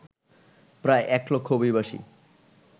প্রায় এক লক্ষ অভিবাসী